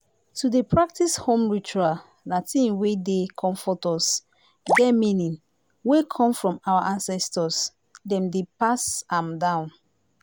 to dey practice home ritual na thing wey dey comfort us get meaning wey come from our ancestors dem dey pass am down